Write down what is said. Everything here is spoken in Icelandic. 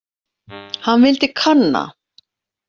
Hann vildi kanna.